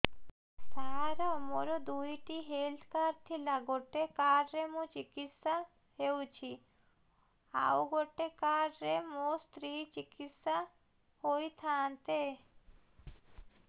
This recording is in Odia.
ସାର ମୋର ଦୁଇଟି ହେଲ୍ଥ କାର୍ଡ ଥିଲା ଗୋଟେ କାର୍ଡ ରେ ମୁଁ ଚିକିତ୍ସା ହେଉଛି ଆଉ ଗୋଟେ କାର୍ଡ ରେ ମୋ ସ୍ତ୍ରୀ ଚିକିତ୍ସା ହୋଇଥାନ୍ତେ